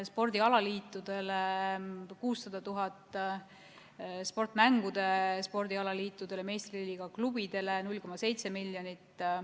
Spordialaliitudele on ette nähtud 600 000 eurot, sportmängude spordialaliitudele ja meistriliiga klubidele 0,7 miljonit eurot.